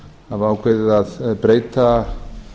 hafa ákveðið að breyta